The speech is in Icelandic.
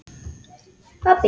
og gult undir hár.